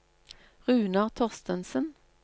Runar Thorstensen